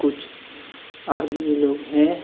कुछ आदमी लोग हे.